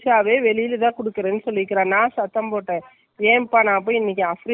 நான் ஆயிஷா, நான் தைக்க போறான்னு போன்ல்ல, அங்கே கொடுக்கலான்னு இருக்கேன்.அவங்களோட idea என்னனு .